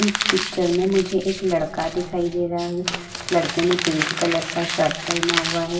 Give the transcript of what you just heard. इस पिक्चर में मुझे एक लड़का दिखाई दे रहा है। लड़के ने पिंक कलर का शर्ट पहना हुआ है।